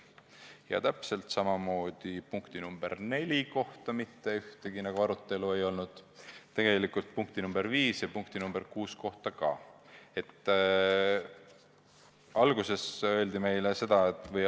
Ja täpselt samamoodi polnud punkti 4 üle mitte vähimatki arutelu ja punktide 5 ja 6 üle ka.